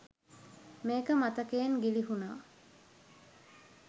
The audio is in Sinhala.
මේක මතකයෙන් ගිළිහුණා.